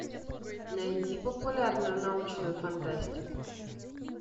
найди популярную научную фантастику